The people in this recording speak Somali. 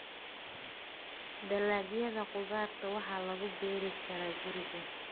Dalagyada khudaarta waxaa lagu beeri karaa guriga.